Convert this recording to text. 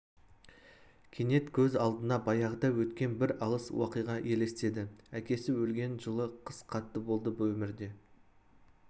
кенет көз алдына баяғыда өткен бір алыс уақиға елестеді әкесі өлген жылы қыс қатты болды өмірде